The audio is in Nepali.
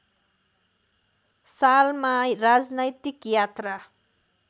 सालमा राजनैतिक यात्रा